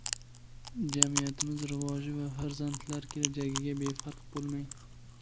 Jamiyatimiz rivoji va farzandlar kelajagiga befarq bo‘lmang!.